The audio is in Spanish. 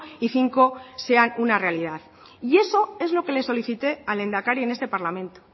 y cinco sean una realidad y eso es lo que le solicité al lehendakari en este parlamento